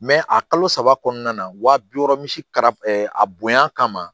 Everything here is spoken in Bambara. a kalo saba kɔnɔna na wa bi wɔɔrɔ misi kara a bonya kama